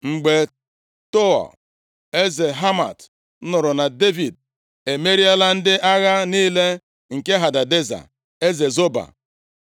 Mgbe Tou eze Hamat nụrụ na Devid emeriela ndị agha niile nke Hadadeza, eze Zoba,